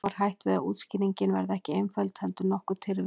Þá er hætt við að útskýringin verði ekki einföld heldur nokkuð tyrfin.